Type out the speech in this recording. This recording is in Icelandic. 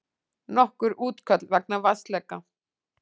Nokkur útköll vegna vatnsleka